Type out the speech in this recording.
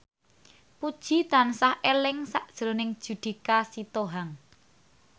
Puji tansah eling sakjroning Judika Sitohang